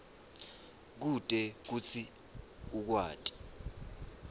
kute kutsi ukwati